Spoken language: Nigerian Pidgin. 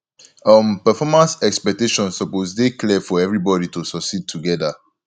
um performance expectations suppose dey clear for everybody to succeed together